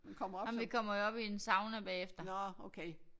Jamen vi kommer jo op i en sauna bagefter